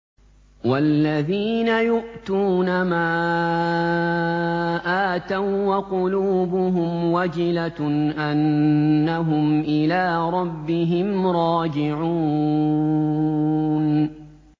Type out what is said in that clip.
وَالَّذِينَ يُؤْتُونَ مَا آتَوا وَّقُلُوبُهُمْ وَجِلَةٌ أَنَّهُمْ إِلَىٰ رَبِّهِمْ رَاجِعُونَ